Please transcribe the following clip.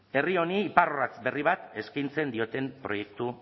herri honi iparrorratz berri bat eskaintzen dioten proiektu